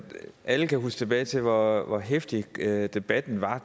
alle kan huske tilbage til hvor hvor heftig debatten var